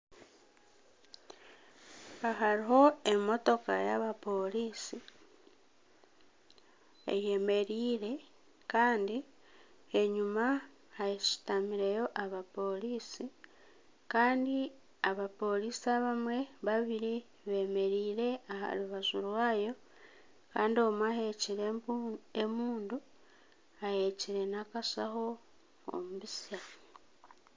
Aha hariho emotoka y'abaporisi eyemereire Kandi enyima hashutamireyo abaporisi Kandi abaporisi abamwe babiri bemereire aha rubaju rwayo Kandi omwe ahekyire embundu ahekyire n'akashaho omu bitsya.